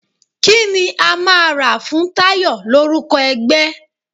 Kí ni a máa rà fún Tayọ l'órúko ẹgbẹ́?